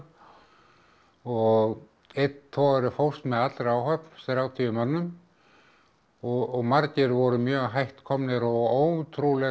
og einn togari fórst með allri áhöfn þrjátíu mönnum og margir voru mjög hætt komnir og ótrúleg